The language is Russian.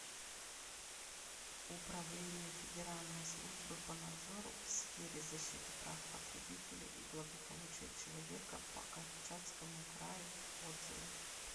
управление федеральной службы по надзору в сфере защиты прав потребителей и благополучия человека по камчатскому краю отзывы